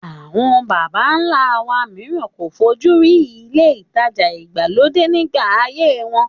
Àwọn bàbá ńlá wa mìíràn kò fojú rí ilé ìtajà ìgbàlódé nígbà ayé wọn